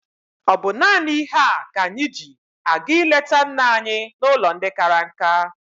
Ọ bụ naanị ihe a ka anyị ji aga ịleta nna anyị n'ụlọ ndị kara nka?